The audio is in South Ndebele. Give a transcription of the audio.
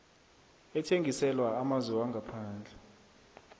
ethengiselwa amazwe wangaphandle